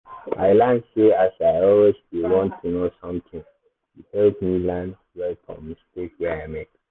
i learn sey as i always dey want know something e help me learn well from mistake wey i make.